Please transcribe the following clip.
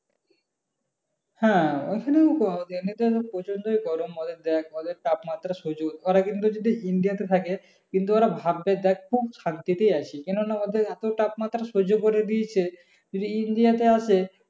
হ্যাঁ ওইখানেও তো আছে ওদের তাপমাত্রা সহ্য করতে। ওরা যদি india তে থাকে কিন্তু ওরা ভাববে দেখ খুব শান্তিতে আছি। কেন না ওদের এত তাপমাত্রা সহ্য করে দিয়েছে যদি india তে আসে